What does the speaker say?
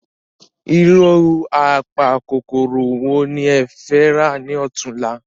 Irú apa kòkòrò wo ni ẹ fẹ̀ rà ni ọ̀túnla?